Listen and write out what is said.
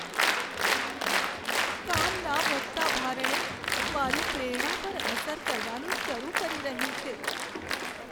કામના વધતાં ભારણે મારી પ્રેરણા પર અસર કરવાનું શરૂ કરી રહ્યું છે.